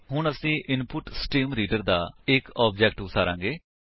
ਹੁਣ ਅਸੀ ਇਨਪੁਟਸਟ੍ਰੀਮਰੀਡਰ ਦਾ ਇੱਕ ਆਬਜੇਕਟ ਉਸਾਰਾਂਗੇ